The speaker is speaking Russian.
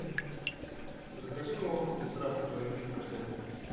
закажи молоко пестравка два и три процента